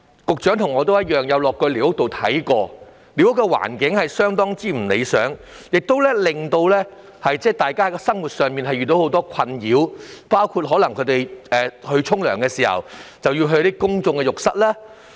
局長和我均曾前往寮屋區視察，知道寮屋環境極不理想，居民在生活上遇到很多困擾，包括洗澡時要使用公眾浴室。